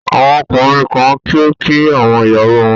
Àwọn ọkùnrin kan kì í kí àwọn ìyàwó wọn